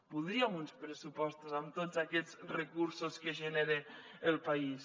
voldríem uns pressupostos amb tots aquests recursos que genera el país